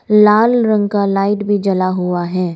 लाल रंग का लाइट भी जला हुआ है।